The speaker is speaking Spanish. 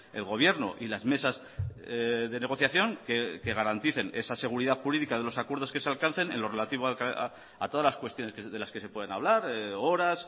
el gobierno y las mesas de negociación que garanticen esa seguridad jurídica de los acuerdos que se alcancen en lo relativo a todas las cuestiones de las que se pueden hablar horas